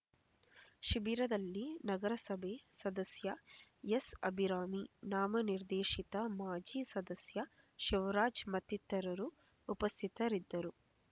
ಶಿಬಿರದಲ್ಲಿ ನಗರಸಭೆ ಸದಸ್ಯ ಎಸ್ ಅಭಿರಾಮಿ ನಾಮನಿರ್ದೇಶಿತ ಮಾಜಿ ಸದಸ್ಯ ಶಿವರಾಜ್ ಮತ್ತಿತರರು ಉಪಸ್ಥಿತರಿದ್ದರು